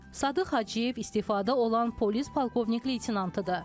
Sadıq Hacıyev istefada olan polis polkovnik-leytenantıdır.